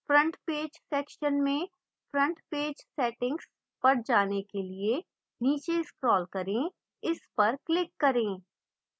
front page section में front page settings पर जाने के लिए नीचे scroll करें इस पर click करें